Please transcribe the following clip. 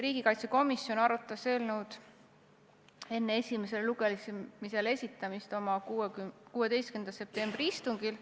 Riigikaitsekomisjon arutas eelnõu enne esimesele lugemisele esitamist oma 16. septembri istungil.